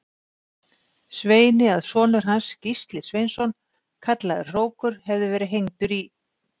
Sveini að sonur hans, Gísli Sveinsson kallaður hrókur, hefði verið hengdur í